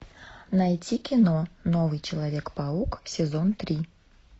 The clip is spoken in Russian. найти кино новый человек паук сезон три